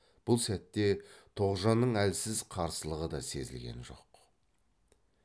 бұл сәтте тоғжанның әлсіз қарсылығы да сезілген жоқ